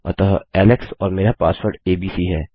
अतः एलेक्स और मेरा पासवर्ड एबीसी है